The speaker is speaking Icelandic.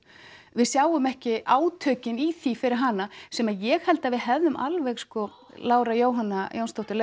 við sjáum ekki átökin í því fyrir hana sem ég held að við hefðum alveg sko Lára Jóhanna Jónsdóttir